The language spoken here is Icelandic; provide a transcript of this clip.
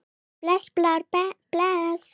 Bless Blár, bless.